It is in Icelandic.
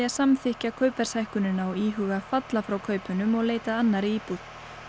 að samþykkja kaupverðshækkunina og íhuga að falla frá kaupunum og leita að annarri íbúð